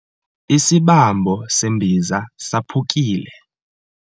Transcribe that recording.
Isibambo sembiza saphukile.